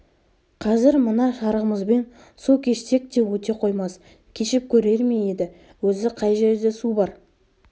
қазір мына шарығымызбен су кешсек те өте қоймас кешіп көрер ме еді өзі қай жерде су бар